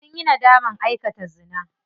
Sunyi nadaman aikata zina.